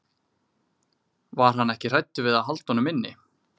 Var hann ekki hræddur við að halda honum inni?